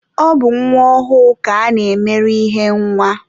Ọ bụ nwa ọhụụ ka a na-emere ihe nwa